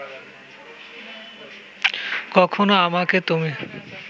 কখনো আমাকে তুমি